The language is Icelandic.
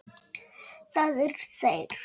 Allt hefur sinn tíma.